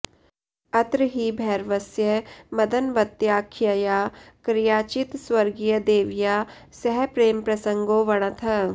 अत्र हि भैरवस्य मदनवत्याख्यया क्रयाचित् स्वर्गीयदेव्या सह प्रेमप्रसङ्गो वणतः